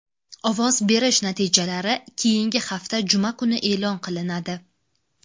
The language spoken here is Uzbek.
Ovoz berish natijalari keyingi hafta juma kuni e’lon qilinadi.